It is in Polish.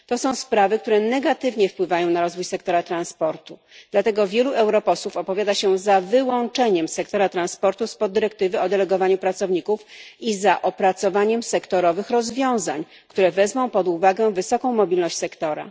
To są sprawy, które negatywnie wpływają na rozwój sektora transportu, dlatego wielu europosłów opowiada się za wyłączeniem sektora transportu z dyrektywy o delegowaniu pracowników i za opracowaniem rozwiązań sektorowych, które wezmą pod uwagę wysoką mobilność sektora.